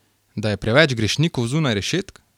Da je preveč grešnikov zunaj rešetk?